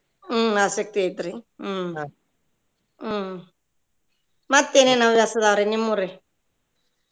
ಹ್ಮ್ ಆಸಕ್ತಿ ಐತ್ರಿ ಹ್ಮ್ ಹ್ಮ್ ಮತ್ತ್ ಏನೇನ್ ಹವ್ಯಾಸ ಅದಾವ್ರಿ ನಿಮ್ಮುರಿ?